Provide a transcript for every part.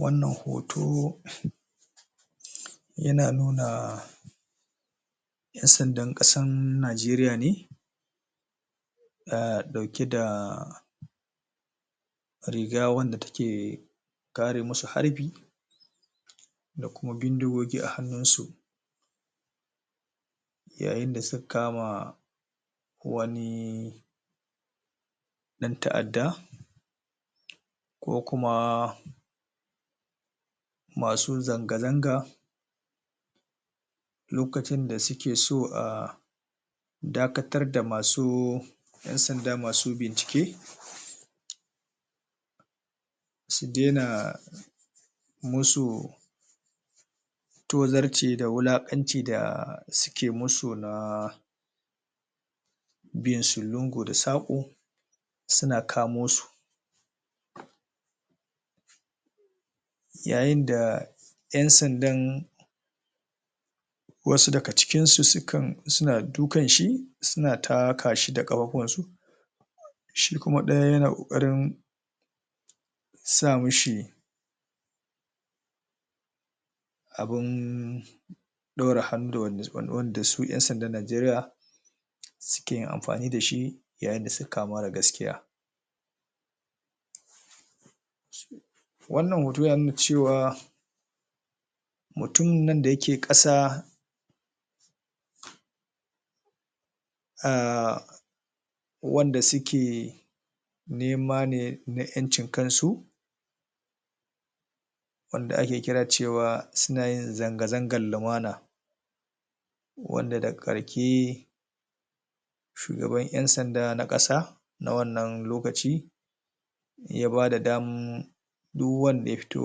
wannan hoto yana nuna ƴan sandan ƙasan najeriya ne ɗa ɗauke da riga wanda ke kare musu harbi da kuma bindigogi a hannun su yayin da suka kama wani ɗan ta'adda ko kuma masu zanga zanga lokacin da suke so a dakatar da masu ɗan sanda masu bincike su daina musu tozarci da wulaƙanci da suke musu na binsu lungu da saƙo suna kamo su yayin da ƴan sandan wasu daga cikinsu sukan suna dukan shi suna ta kashi da ƙafafunan su shi kuma ɗaya yana ƙoƙarin sa mishi abun ɗaure hadda wanda suka faɗi wanda su ƴan sandan najeriya suke yin amfani da shi yayin da suka kama mara gaskiya wannan hoto yana nuna cewa mutumin nan da yake ƙasa aahh wanda suke nema ne na ƴancin kansu wanda ake kira cewa suna yin zanga zangan lumana wanda daga ƙarke shugaban ƴan sanda na ƙasa na wannan lokaci ya bada damm duk wanda ya fito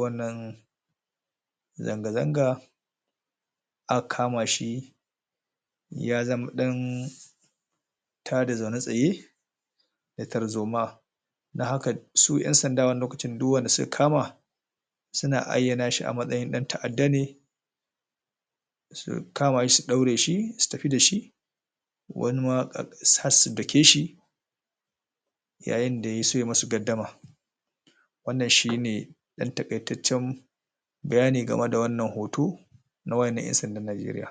wannan zanga zanga aka kama shi ya zama ɗan tada zaune tsaye da tarzoma don haka su ƴan sanda wannan lokacin duk wanda suka kama suna ayyana shi a matsayin ɗan ta'adda ne su kama shi su ɗaure shi su tafi da shi wani ma har su dake shi yayin da yaso ya musu gaddama wannan shine ɗan taƙaitaccen bayani game da wannan hoto na waye ne ƴan sandan najeriya